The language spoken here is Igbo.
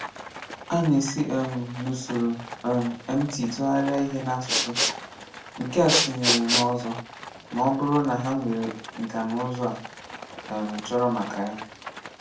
A na-esi um n’usoro um MT tụgharịa ihe n’asụsụ, nke a tinyere n’ọ̀zọ̀, ma ọ̀ bụrụ na ha nwere nka na ụzụ a um chọ̀rọ̀ maka ya.